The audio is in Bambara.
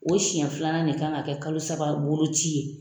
O senɲɛ filanan de kan ka kɛ kalo saba boloci ye.